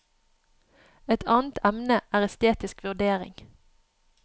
Et annet emne er estetisk vurdering.